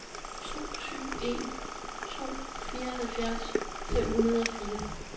to syv en to fireoghalvfjerds fem hundrede og fire